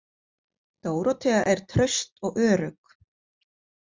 Dórótea er traust og örugg.